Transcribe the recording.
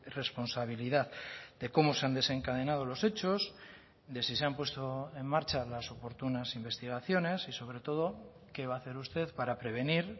responsabilidad de cómo se han desencadenado los hechos de si se han puesto en marcha las oportunas investigaciones y sobre todo qué va a hacer usted para prevenir